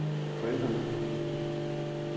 forældrene